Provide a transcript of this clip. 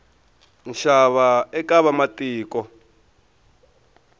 nxava eka vamatiko